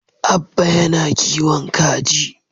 Abba yana kowin kaji.